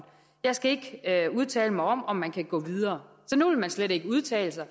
jeg skal ikke udtale mig om om man kan gå videre så nu vil man slet ikke udtale sig